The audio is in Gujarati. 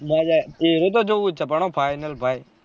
એવોજ તો જોવુજ છે final ભાઈ